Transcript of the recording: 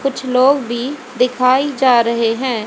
कुछ लोग भी दिखाई जा रहे हैं।